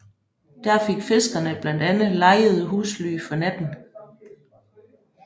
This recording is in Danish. Der fik fiskerne blandt andet lejede husly for natten